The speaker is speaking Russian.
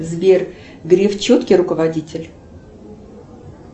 сбер греф четкий руководитель